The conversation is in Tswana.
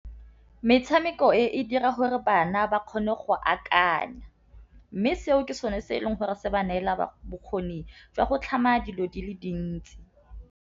Metšhameko e dira gore bana ba kgone go akanya, mme seo ke sone se e leng gore se ba neela bokgoni jwa go tlhama dilo di le dintsi.